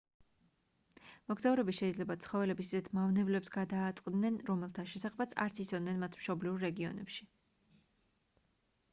მოგზაურები შეიძლება ცხოველების ისეთ მავნებლებს გადააწყდნენ რომელთა შესახებაც არ იცოდნენ მათ მშობლიურ რეგიონებში